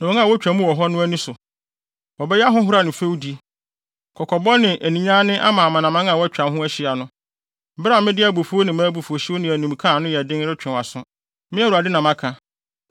Wobɛyɛ ahohora ne fɛwdi, kɔkɔbɔ ne aninyanne ama amanaman a wɔatwa wo ho ahyia no, bere a mede abufuw ne abufuwhyew ne animka a ano yɛ den retwe wʼaso. Me Awurade na maka.